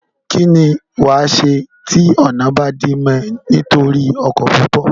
kín ni wàá ṣe tí ọ̀nà bá dí mọ́ ọ nítorí ọkọ̀ púpọ̀?